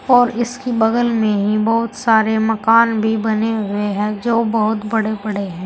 और इसके बगल में ही बहोत सारे मकान भी बने हुए है जो बहोत बड़े बड़े है।